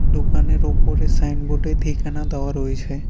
দোকানের ওপরে সাইনবোর্ড -এ ঠিকানা দেওয়া রয়েছে।